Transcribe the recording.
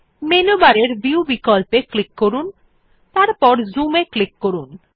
menu বারের view বিকল্পে click করুন এবং তারপর Zoom এ ক্লিক করুন